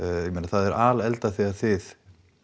ég meina það er þegar þið